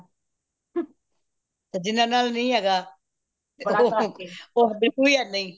ਤੇ ਜਿਹਨਾਂ ਨਾਲ ਨਹੀਂ ਹੈਗਾ ਤੇ ਉਹ ਬਿਲਕੁਲ ਹੈ ਨਹੀਂ